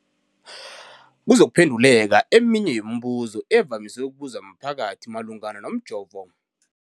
kuzokuphenduleka eminye yemibuzo evamise ukubuzwa mphakathi malungana nomjovo.